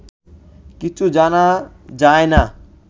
কিছু জানা যায় না